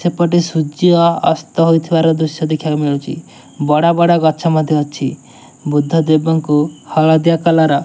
ସେପଟେ ସୂର୍ଯ୍ୟ ଅସ୍ତ ହୋଇଥିବାର ଦୃଶ୍ୟ ଦେଖିବାକୁ ମିଳୁଚି ବଡ଼ ବଡ଼ ଗଛ ମଧ୍ୟ ଅଛି ବୁଦ୍ଧ ଦେବଙ୍କୁ ହଳଦିଆ କଲର --